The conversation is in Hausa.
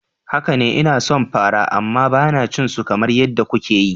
Haka ne, ina son fara amma ba na cin su kamar yadda kuke yi.